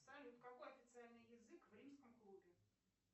салют какой официальный язык в римском клубе